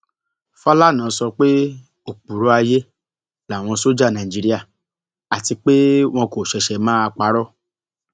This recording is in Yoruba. fàlànà sọ pé òpùrọ ayé làwọn sójà nàìjíríà àti pé wọn kò ṣẹṣẹ máa parọ